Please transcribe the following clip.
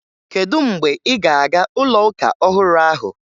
Kedu mgbe ị́ ga-aga ụlọụka ọhụrụ ahụ?